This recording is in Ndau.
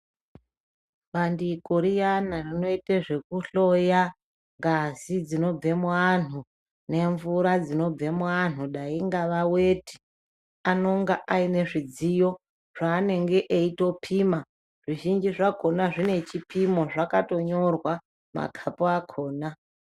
Bandiko riyana rinoita zvekuhloya ngazi dzinobva muvanhu ngemvura dzinobva muvanhu dai ingava weti anonga Aine zvanenge eitopima zvizhinji zvakona zvine chipimo zvakanyorwa makapu akona.